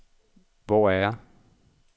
Hvor er jeg